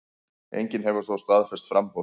Enginn hefur þó staðfest framboð.